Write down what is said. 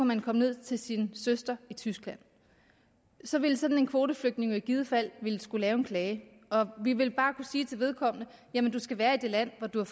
man komme ned til sin søster i tyskland så ville sådan en kvoteflygtning jo i givet fald skulle lave en klage og vi vil bare kunne sige til vedkommende at jamen du skal være i det land hvor du har